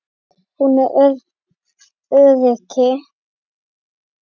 Hún er öryrki.